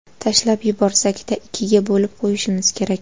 Tashlab yuborsak-da, ikkiga bo‘lib qo‘yishimiz kerak.